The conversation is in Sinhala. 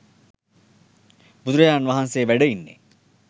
බුදුරජාණන් වහන්සෙ වැඩ ඉන්නෙ.